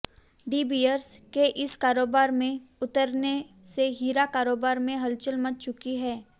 D Beers के इस कारोबार में उतरने से हीरा कारोबार में हलचल मच चुकी है